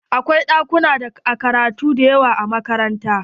Akwai ɗakunan karatu dayawa a makaranta.